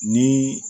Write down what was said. Ni